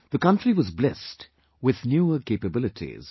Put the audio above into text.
The country was blessed with newer capabilities